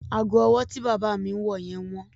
Ago ọwọ́ bí bàbá mi ń wọ yẹn wọ́n.